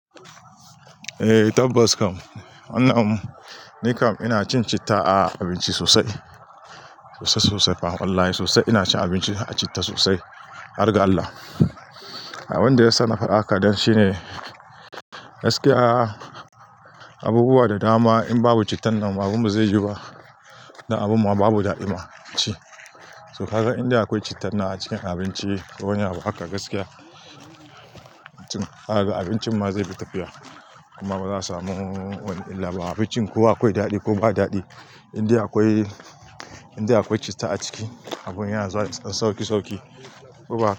Eh tabbas kam, wannan mu. Ni kam ina cin citta a abinci sosai. Sosai sosai fa. Wallahi sosai ina cin abinci a citta sosai. Har ga Allah Abin da ya saka ni faɗa haka dan shine gaskiya abubuwa da dama in babu cittan nan abun ba zai yu ba. Dan abun mu babu daɗima ci. To ka ga inda akwai cittan na a cikin abinci ko wani abu haka gaskiya, abincin ma zai fi tafiya. Kuma za'a samu wani wataƙila ma abincin ko akwai daɗi ko ba daɗi. Indai akwai, indai akwai citta a ciki a bun yana zuwa da sauki sauki. Ko ba haka?